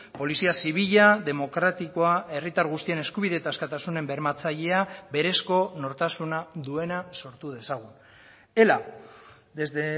polizia zibila demokratikoa herritar guztien eskubide eta askatasunen bermatzailea berezko nortasuna duena sortu dezagun ela desde